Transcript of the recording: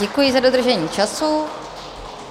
Děkuji za dodržení času.